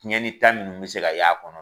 Tiɲɛni ta ninnu bɛ se ka y'a kɔnɔ